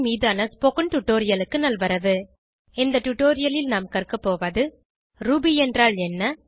மீதான ஸ்போகன் டுடோரியலுக்கு நல்வரவு இந்த டுடோரியலில் நாம் கற்கபோவது ரூபி என்றால் என்ன